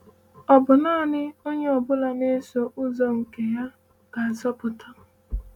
“Ò bụ naanị onye ọ bụla na-eso ụzọ nke ya gaa nzọpụta?”